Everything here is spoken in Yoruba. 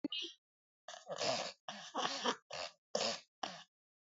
Bẹ́ẹ̀ni, o ni!